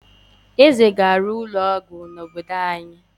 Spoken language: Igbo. Eze ga-ewu ụlọ ọgwụ n’obodo anyị.